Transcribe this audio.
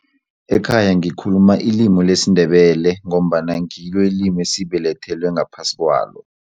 Ekhaya ngikhuluma ilimi lesiNdebele ngombana ngilo ilimi esibelethelwe ngaphasi kwalo.